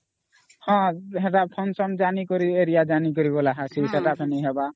ହଁ ହେଟା function ଜାଣିକରି area ଜାଣିକରି ସେତ ହେଲେ ହଵା